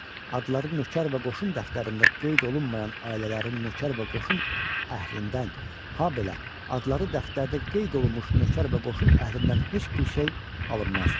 Adları nökər və qoşun dəftərində qeyd olunmayan ailələrin nökər və qoşun əhlindən, habelə adları dəftərdə qeyd olunmuş nökər və qoşun əhlindən heç bir şey alınmazdı.